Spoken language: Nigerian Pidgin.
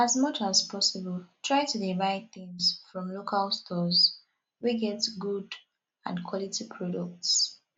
as much as possible try to dey buy things from local stores wey get good and quality products